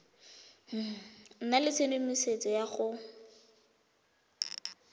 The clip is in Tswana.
nna le tshedimosetso ya go